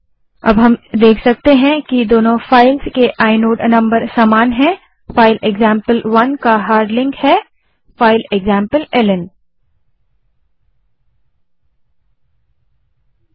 अब हम देख सकते हैं कि दोनों फाइल्स के आइनोड नंबर समान हैं फाइल एक्जाम्पल1 का हार्ड लिंक फाइल एक्जाम्पलेल्न है